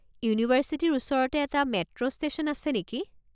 ইউনিভাৰ্ছিটিৰ ওচৰতে এটা মেট্ৰো ষ্টেশ্যন আছে নেকি?